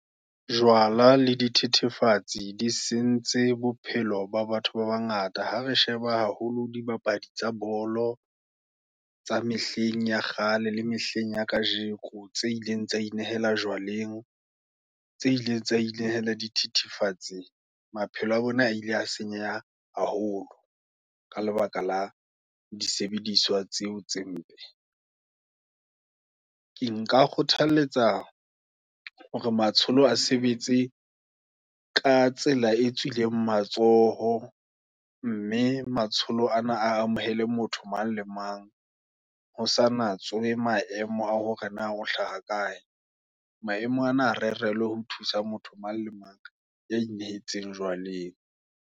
Jwala le di thethefatsi, di sentse bophelo ba batho ba bangata, ha resheba haholo di bapadi tsa bolo, tsa mehleng ya kgale, la mehleng ya kajeko, tse ileng tsa inehela jwaleng, tse ileng tsa inehela dithithifatsing, maphelo a bona, ile a senyeha haholo, ka lebaka la disebediswa, tseo tse mpe. Ke nka kgothaletsa hore matsholo, a sebetse ka tsela e tswileng matsoho, mme matsholo ana a amohele, motho mang le mang, hosa natswe maemo, a hore na o hlaha kae. Maemo ana a re relwe, ho thusa, motho mang le mang, ya nehetseng jwaleng.